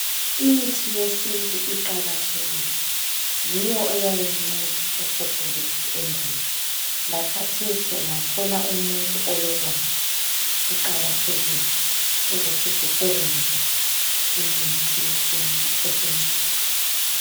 lmithi yesintu iqakathekile yiyo eyayinceda okhokho bethu endulo, lakhathesi ungathola umuntu ololwazi kuqakathekile ukuthi sisebenzise imithi yesintu esincedayo.